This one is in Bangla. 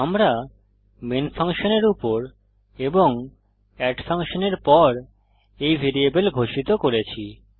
আমরা মেইন ফাংশনের উপর এবং এড ফাংশনের পর a ভ্যারিয়েবল ঘোষিত করেছি